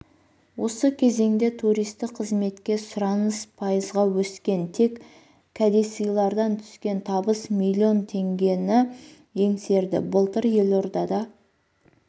осы кезеңде туристік қызметке сұраныс пайызға өскен тек кәдесыйлардан түскен табыс миллион теңгені еңсерді былтыр елордада